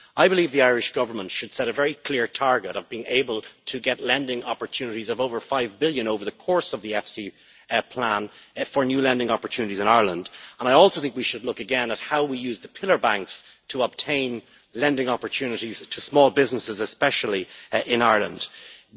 I believe the Irish government should set a very clear target of being able to get lending opportunities of over EUR 5 billion over the course of the EFSI plan for new lending opportunities in Ireland, and I also think we should look again at how we use the pillar banks to obtain lending opportunities to small businesses, especially in Ireland.